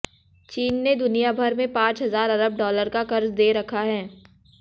चीन ने दुनियाभर में पांच हजार अरब डॉलर का कर्ज दे रखा है